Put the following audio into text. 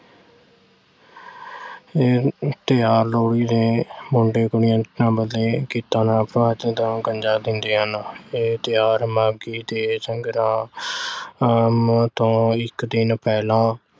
ਇਹ ਅਹ ਤਿਓਹਾਰ ਲੋਹੜੀ ਦੇ ਇਹ ਤਿਓਹਾਰ ਮਾਘੀ ਤੇ ਸੰਗਰਾਂਦ ਤੋਂ ਇੱਕ ਦਿਨ ਪਹਿਲਾਂ